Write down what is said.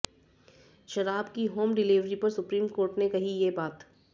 शराब की home delivery पर सुप्रीम कोर्ट ने कही ये बात